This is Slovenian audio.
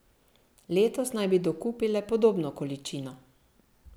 Letos naj bi dokupile podobno količino.